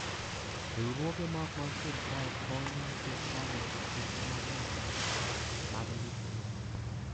Riwruoge ma ok mag sirkal konyo sirkal loso chenro mag nyasani mag ndiko lope.